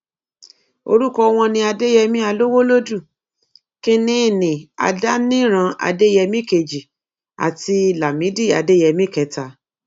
orúkọ wọn ni adéyẹmi alowolódù kínínní adániran adéyẹmi kejì àti lámìdí adéyẹmi kẹta